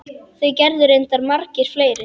Það gerðu reyndar margir fleiri.